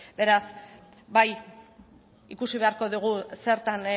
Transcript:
beraz bai ikusi beharko dugu zertan